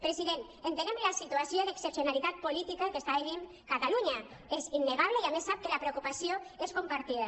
president entenem la situació d’excepcionalitat política que està vivint catalunya és innegable i a més sap que la preocupació és compartida